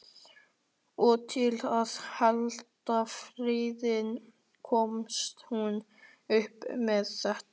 Og til að halda friðinn komst hún upp með þetta.